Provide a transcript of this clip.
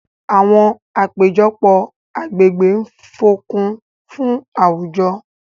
àwọn apejọpọ agbegbe ń fokun fun awujo.